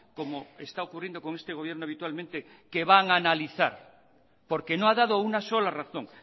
como está ocurriendo con este gobierno habitualmente que van a analizar porque no ha dado una sola razón